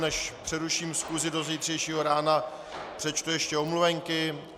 Než přeruším schůzi do zítřejšího rána, přečtu ještě omluvenky.